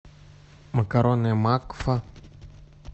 макароны макфа